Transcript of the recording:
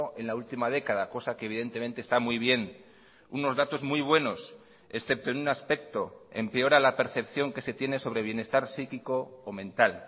en la última década cosa que evidentemente está muy bien unos datos muy buenos excepto en un aspecto empeora la percepción que se tiene sobre bienestar psíquico o mental